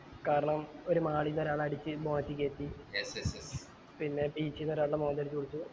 കാരണം ഒരു mall ന്ന് ഒരാളെ അടിച്ച് മാറ്റി കേറ്റി പിന്നെ beach ന്ന് ഒരാൾടെ മോന്ത അടിച്ച് പൊളിച്ചു